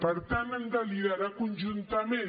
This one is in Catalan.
per tant han de liderar conjuntament